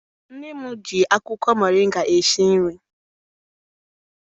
Nne m ji akwụkwọ moringa esi nri.